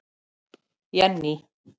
Jenný